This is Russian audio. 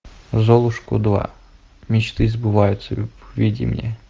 золушку два мечты сбываются введи мне